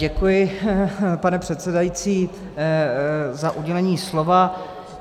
Děkuji, pane předsedající, za udělení slova.